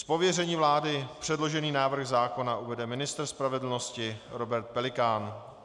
Z pověření vlády předložený návrh zákona uvede ministr spravedlnosti Robert Pelikán.